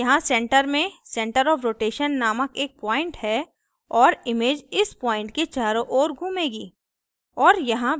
यहाँ center में center of rotation नामक एक point है और image इस point के चारों ओर घूमेगी